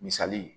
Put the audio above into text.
Misali ye